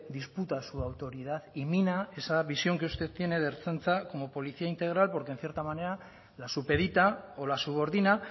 disputa su autoridad y mina esa visión que usted tiene de ertzaintza como policía integral porque en cierta manera la supedita o la subordina